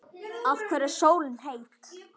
Af hverju er sólin heit?